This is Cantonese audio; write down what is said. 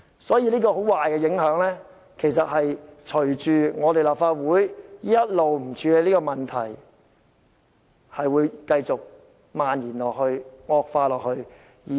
所以，這種很壞的影響隨着立法會一直不處理這個問題而繼續漫延、惡化下去。